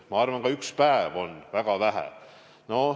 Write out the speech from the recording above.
Ma arvan, et ka üks päev on väga vähe.